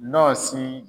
Ɲɔ si